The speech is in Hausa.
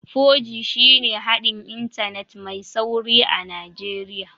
4G shine haɗin Intanet mai sauri a Najeriya